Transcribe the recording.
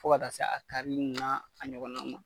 Fo ka taa se a karili n'a a ɲɔgɔnna ninnu ma.